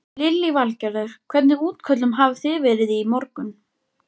Lillý Valgerður: Hvernig útköllum hafi þið verið í morgun?